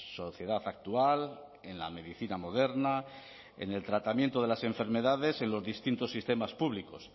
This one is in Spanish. sociedad actual en la medicina moderna en el tratamiento de las enfermedades en los distintos sistemas públicos